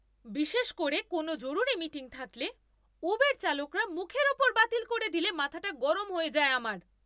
বিশেষ করে কোনও জরুরি মিটিং থাকলে, উবের চালকরা মুখের ওপর বাতিল করে দিলে মাথাটা গরম হয়ে যায় আমার!